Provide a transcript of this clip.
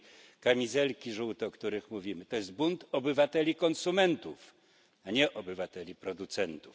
żółte kamizelki, o których mówimy, to jest bunt obywateli konsumentów, a nie obywateli producentów.